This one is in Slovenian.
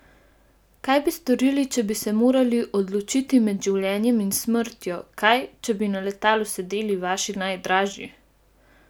Kaj bi storili, če bi se morali odločiti med življenjem in smrtjo, kaj, če bi na letalu sedeli vaši najdražji?